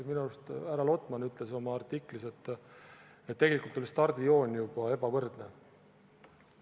Minu arust härra Lotman ütles oma artiklis, et tegelikult oli juba stardijoon ebavõrdne.